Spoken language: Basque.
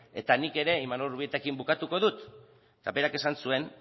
eta nik ere imanol urbietarekin bukatuko dut eta berak esan zuen